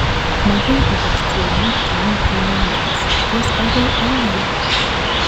Makoi ikas tyong'ik chemitei nyanjas-tos akoi auiyo?